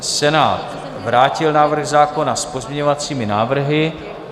Senát vrátil návrh zákona s pozměňovacími návrhy.